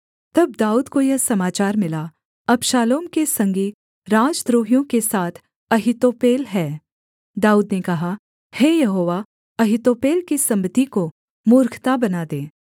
तब दाऊद को यह समाचार मिला अबशालोम के संगी राजद्रोहियों के साथ अहीतोपेल है दाऊद ने कहा हे यहोवा अहीतोपेल की सम्मति को मूर्खता बना दे